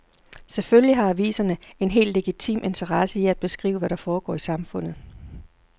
Selvfølgelig har aviserne en helt legitim interesse i at beskrive, hvad der foregår i samfundet.